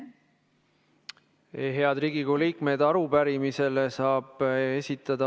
Head Riigikogu liikmed!